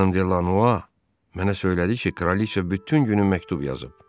Xanım De La No mənə söylədi ki, kraliçe bütün günü məktub yazıb.